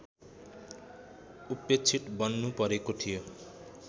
उपेक्षित बन्नु परेको थियो